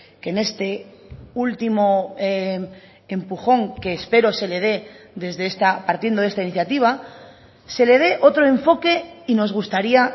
que en este último empujón que espero se le dé desde esta partiendo de esta iniciativa se le dé otro enfoque y nos gustaría